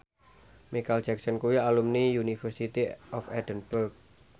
Micheal Jackson kuwi alumni University of Edinburgh